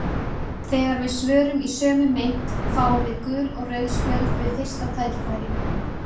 Þegar við svörum í sömu mynt fáum við gul og rauð spjöld við fyrsta tækifæri.